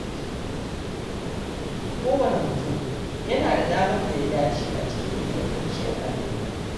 Kowane mutum yana da damar da ya dace a cikin ingantacciyar al’umma.